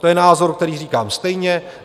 To je názor, který říkám stejně.